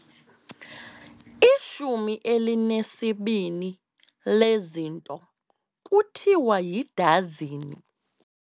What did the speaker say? Ishumi elinesibini lezinto kuthiwa yidazini.